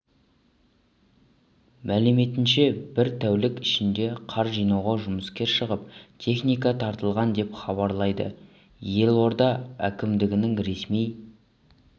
мәліметінше бір тәулік ішінде қар жинауға жұмыскер шығып техника тартылған деп хабарлайды елорда әкімдігінің ресми